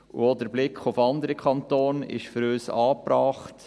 Auch der Blick auf andere Kantone ist für uns angebracht.